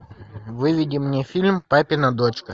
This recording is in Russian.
выведи мне фильм папина дочка